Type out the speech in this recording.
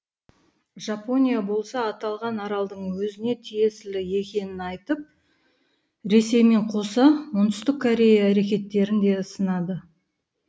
жапония болса аталған аралдың өзіне тиесілі екенін айтып ресеймен қоса оңтүстік корея әрекеттерін де сынады